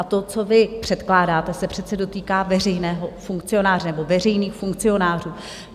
A to, co vy předkládáte, se přece dotýká veřejného funkcionáře, nebo veřejných funkcionářů.